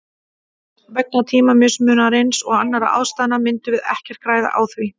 Vegna tímamismunarins og annarra ástæðna myndum við ekkert græða á því.